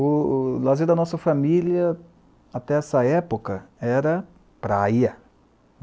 O o lazer da nossa família, até essa época, era praia.